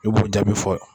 I b'o jaabi fɔ